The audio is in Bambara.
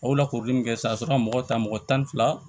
A y'o lakoori min kɛ sisan a bɛ se ka mɔgɔ ta mɔgɔ tan ni fila